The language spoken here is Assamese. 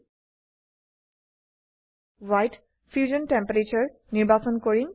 Y ত ফিউশ্যন টেম্পাৰাটোৰে ফিউশন তাপমাত্ৰা নিৰ্বাচন কৰিম